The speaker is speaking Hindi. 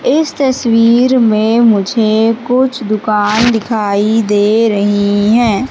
इस तस्वीर मे मुझे कुछ दुकान दिखाई दे रही है।